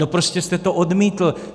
No prostě jste to odmítl.